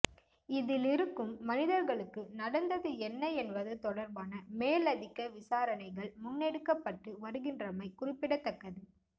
இதிலிருக்கும் மனிதர்களுக்கு நடந்தது என்ன என்பது தொடர்பான மேலதிக விசாரணைகள் முன்னெடுக்கப்பட்டு வருகின்றமை குறிப்பிடத்தக்கது